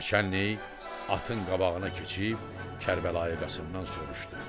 Naçəllik atın qabağına keçib Kərbəlayı Qasımdan soruşdu.